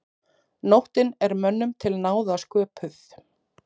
Nóttin er mönnum til náða sköpuð.